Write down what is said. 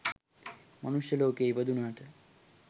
මනුෂ්‍ය ලෝකයේ ඉපදුනාට,